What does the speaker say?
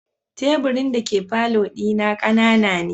Teburin dake falo dina kanana ne.